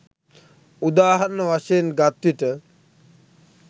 උදාහරණ වශයෙන් ගත් විට